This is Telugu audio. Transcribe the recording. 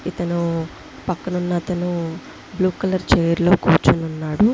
పక్కపక్కన పిల్లలు కూర్చో ఫోన్ మాట్లాడుతుంటే పక్క కలర్ షర్ట్ వేసుకొని ఒకతను ఉన్నాడు.